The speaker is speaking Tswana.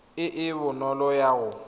e e bonolo ya go